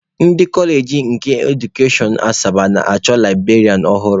Ndị kọọleji nke edukashọn Asaba na-achọ librarianụ ọhụrụ.